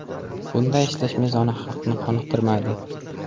Bunday ishlash mezoni xalqni qoniqtirmaydi.